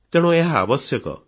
ତେଣୁ ଏହା ଆବଶ୍ୟକ